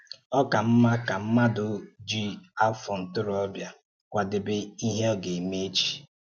Ọ́ ka mma ka mmádụ̀ jí̄ afọ̀ ntoróbịa kwàdèbé íhè gà-emè echi.